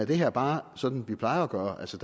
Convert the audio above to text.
det her bare sådan som vi plejer at gøre altså